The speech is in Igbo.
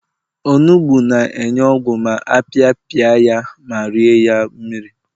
onugbu na-enye ogwu ma apiapia ya ma rie ya mmiri